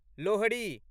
Lohri